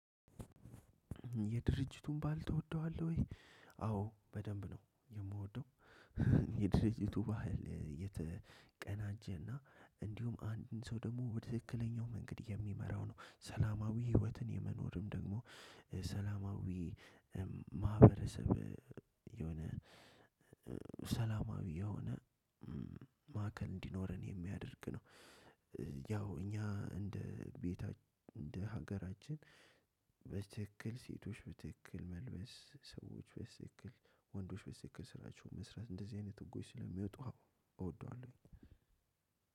የድርጅቱን ባል ትወደዋለህ ወይ? አዎ በደንብ ነው የምወደው። የድርጅቱ ባህል የተቀናጀና እንዲሁም አንድን ሰው ደግሞ ትክክለኛው መንገድ የሚመራው ነው። ሰላማዊ ህይወትን የመኖርም ደግሞ ሰላማዊ ማህበረሰብ የሆነ ሰላማዊ የሆነ ማዕከል እንዲኖረን የሚያደርግ ነው። ያው እኛ እንደ ቤት እንደ ሀገራችን በስትክክል ሴቶች በትክክል መልበስ ሰዎች በስትክክል ወንዶች በስትክክል ስራቸው መስራት እንደዚህ አይነት ህጎች ስለሚወጡ አዎ አወዷለሁ።